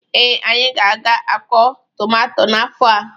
Ee, anyị ga-akọ tụmato n'afọ a.